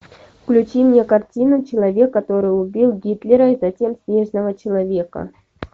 включи мне картину человек который убил гитлера и затем снежного человека